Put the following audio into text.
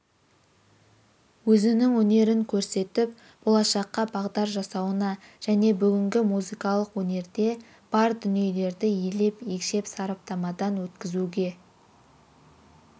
өзінің өнерін көрсетіп болашаққа бағдар жасауына және бүгінгі музыкалық өнерде бар дүниелерді елеп-екшеп сараптамадан өткізуге